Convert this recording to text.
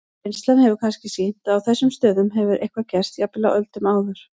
Reynslan hefur kannski sýnt að á þessum stöðum hefur eitthvað gerst, jafnvel á öldum áður.